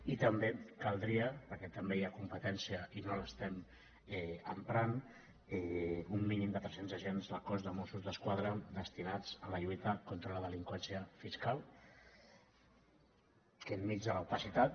i també caldria perquè també hi ha competència i no l’estem emprant un mínim de tres cents agents del cos de mossos d’esquadra destinats a la lluita contra la delinqüència fiscal que enmig de l’opacitat